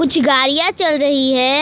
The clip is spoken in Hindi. कुछ गाड़ियां चल रही है।